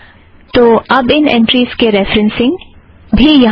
तो अब इन ऐंट्रीज़ के रेफ़रेन्ससिंग भी यहाँ है